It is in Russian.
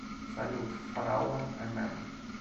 салют фараон эмэм